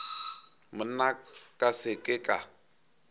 monna ka se ke ka